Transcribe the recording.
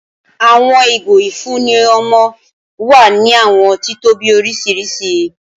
Awọn igo ifunni ọmọ wa ni awọn titobi oriṣiriṣi